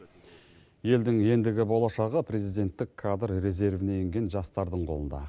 елдің ендігі болашағы президенттік кадр резервіне енген жастардың қолында